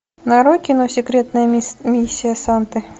нарой кино секретная миссия санты